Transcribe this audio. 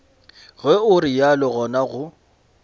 ge o realo gona go